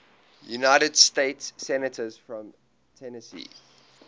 united states senators from tennessee